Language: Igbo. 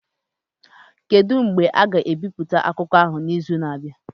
Kedu mgbe a ga-ebipụta akụkọ ahụ n'izu na-abịa?